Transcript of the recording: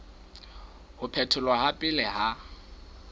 ho phetholwa ha pele ha